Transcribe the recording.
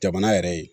Jamana yɛrɛ ye